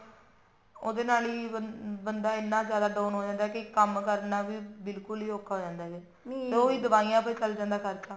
ਉਹਦੇ ਨਾਲ ਬੰਦਾ ਇੰਨਾ ਜਿਆਦਾ down ਹੋ ਜਾਂਦਾ ਵੀ ਕੰਮ ਕਰਨਾ ਹੀ ਬਿਲਕੁਲ ਔਖਾ ਹੋ ਜਾਂਦਾ ਨਹੀਂ ਉਹੀ ਦਵਾਈਆਂ ਤੇ ਹੀ ਚੱਲ ਜਾਂਦਾ ਖਰਚਾ